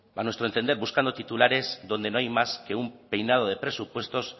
a nuestro entender buscando titulares donde no hay más que un peinado de presupuestos